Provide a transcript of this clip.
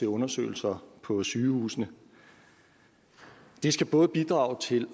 undersøgelser på sygehusene det skal både bidrage til